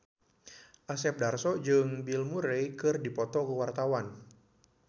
Asep Darso jeung Bill Murray keur dipoto ku wartawan